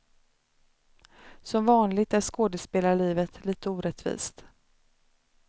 Som vanligt är skådespelarlivet lite orättvist.